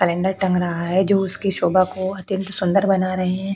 Calendar तक तंग रहा है जो उसकी शोभा को अत्यंत सुंदर बना रहे हैं।